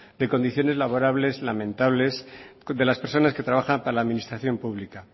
de condiciones laborales lamentables de las personas que trabajan para la administración pública